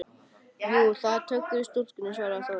Jú, það er töggur í stúlkunni, svaraði Þóra.